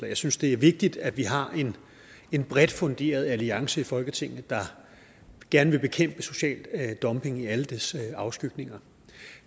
jeg synes det er vigtigt at vi har en bredt funderet alliance i folketinget der gerne vil bekæmpe social dumping i alle dets afskygninger